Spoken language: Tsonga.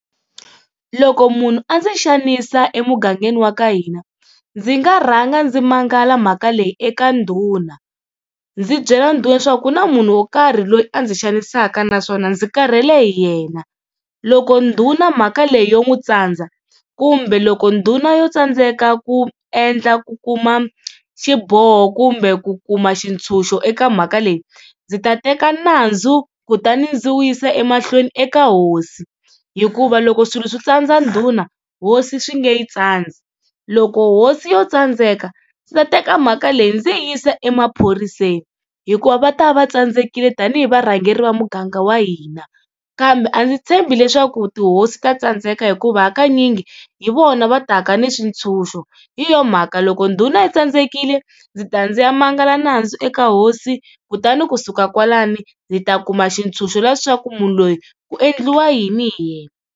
Loko munhu a ndzi xanisa emugangeni wa ka hina ndzi nga rhanga ndzi mangala mhaka leyi eka ndhuna, ndzi byela ndhuna leswaku ku na munhu wo karhi loyi a ndzi xanisaka naswona ndzi karhele hi yena. Loko ndhuna mhaka leyi yo n'wi tsandza kumbe loko ndhuna yo tsandzeka ku endla ku kuma xiboho kumbe ku kuma swintshuxo eka mhaka leyi, ndzi ta teka nandzu kutani ndzi wu yisa emahlweni eka hosi, hikuva loko swilo swi tsandza ndhuna hosi swi nge yi tsandzi. Loko hosi yo tsandzeka ndzi ta teka mhaka leyi ndzi yi yisa emaphoriseni hikuva va ta va va tsandzekile tani hi varhangeri va muganga wa hina. Kambe a ndzi tshembi leswaku tihosi ta tsandzeka hikuva hakanyingi hi vona va taka ni swintshuxo, hi yona mhaka loko ndhuna yi tsandzekile ndzi ta ndzi ya mangala nandzu eka hosi kutani kusuka kwalano ndzi ta kuma xitshunxo leswaku munhu loyi ku endliwa yini hi yena.